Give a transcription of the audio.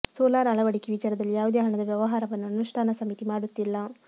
solar ಅಳವಡಿಕೆ ವಿಚಾರದಲ್ಲಿ ಯಾವುದೇ ಹಣದ ವ್ಯವಹಾರವನ್ನು ಅನುಷ್ಠಾನ ಸಮಿತಿ ಮಾಡುತ್ತಿಲ್ಲ